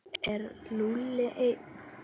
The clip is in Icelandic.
Er Lúlli einn?